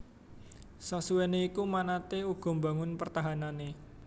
Sasuwéné iku manatee uga mbangun pertahanané